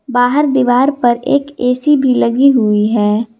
बाहर दीवार पर एक ए_सी भी लगी हुई है।